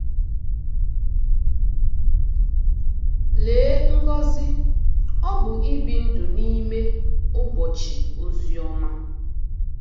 Lee ngọzi ọ bụ ibi ndụ n'ime “ụbọchị ozi ọma.”